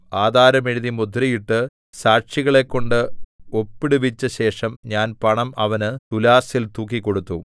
ആധാരം എഴുതി മുദ്രയിട്ട് സാക്ഷികളെക്കൊണ്ട് ഒപ്പിടുവിച്ച ശേഷം ഞാൻ പണം അവന് തുലാസിൽ തൂക്കിക്കൊടുത്തു